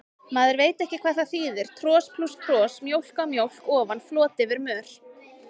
Maður veit hvað það þýðir, tros plús tros, mjólk á mjólk ofan, flot yfir mör.